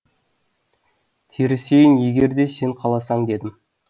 терісейін егер де сен қаласаң дедім